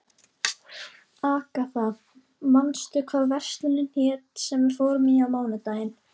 Agatha, manstu hvað verslunin hét sem við fórum í á mánudaginn?